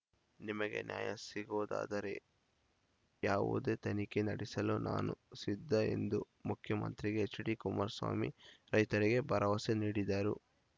ನಿಮಗೆ ನ್ಯಾಯ ಸಿಗುವುದಾದರೆ ಯಾವುದೇ ತನಿಖೆ ನಡೆಸಲು ನಾನು ಸಿದ್ಧ ಎಂದು ಮುಖ್ಯಮಂತ್ರಿ ಎಚ್‌ಡಿ ಕುಮಾರಸ್ವಾಮಿ ರೈತರಿಗೆ ಭರವಸೆ ನೀಡಿದರು